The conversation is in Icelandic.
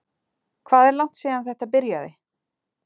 Hvað er langt síðan að þetta byrjaði?